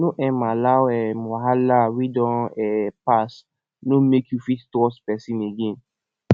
no um allow um wahala wey don um pass no mek you fit trust pesin again